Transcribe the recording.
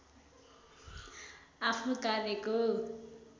आफ्नो कार्यको